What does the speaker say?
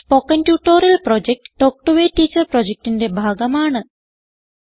spoken tutorial project talk to a teacher പ്രൊജക്റ്റിന്റെ ഭാഗമാണ്